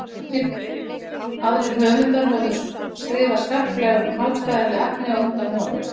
margir aðrir höfundar höfðu skrifað skarplega um hagfræðileg efni á undan honum